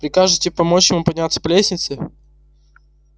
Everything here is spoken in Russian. прикажете помочь вам подняться по лестнице